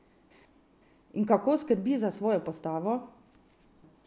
In kako skrbi za svojo postavo?